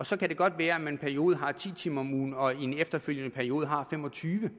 så kan det godt være at man periode har ti timer om ugen og i en efterfølgende periode har fem og tyve